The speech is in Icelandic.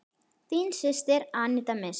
Þín systir, Aníta Mist.